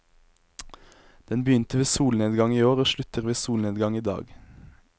Den begynte ved solnedgang i går og slutter ved solnedgang i dag.